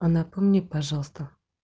а напомни пожалуйста